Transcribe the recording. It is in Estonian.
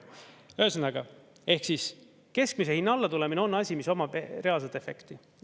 Ühesõnaga, ehk siis keskmise hinna alla tulemine on asi, mis omab reaalset efekti.